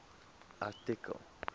artikel